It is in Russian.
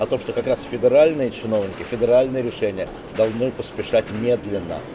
как раз федеральные чиновники федеральный решения должны поспешать медленно